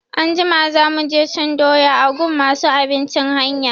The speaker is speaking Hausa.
Anjima za mu je cin doya a gun masu abincin hanya.